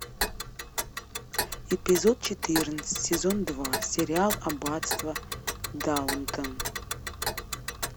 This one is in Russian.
эпизод четырнадцать сезон два сериал аббатство даунтон